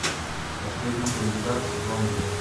последний кандидат сезон два